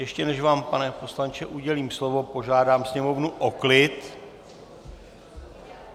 Ještě než vám, pane poslanče, udělím slovo, požádám sněmovnu o klid!